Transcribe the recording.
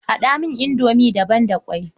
Haɗa mini indomi da ban da ƙwai.